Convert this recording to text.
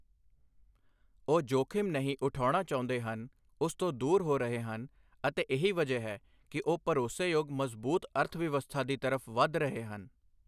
ਉਹ ਜੋਖਿਮ ਨਹੀਂ ਉਠਾਉਣਾ ਚਾਹੁੰਦੇ ਹਨ ਉਸ ਤੋਂ ਦੂਰ ਹੋ ਰਹੇ ਹਨ ਅਤੇ ਇਹੀ ਵਜ੍ਹਾ ਹੈ ਕਿ ਉਹ ਭਰੋਸੇਯੋਗ ਮਜ਼ਬੂਤ ਅਰਥਵਿਵਸਥਾ ਦੀ ਤਰਫ ਵਧ ਰਹੇ ਹਨ।